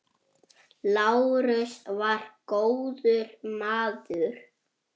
Lárus var góður maður.